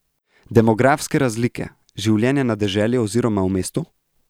Demografske razlike, življenje na deželi oziroma v mestu?